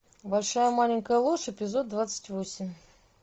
большая маленькая ложь эпизод двадцать восемь